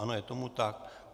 Ano, je tomu tak.